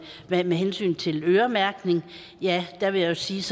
med hensyn til øremærkning jeg vil jo sige